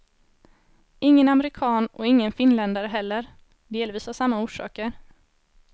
Ingen amerikan och ingen finländare heller, delvis av samma orsaker.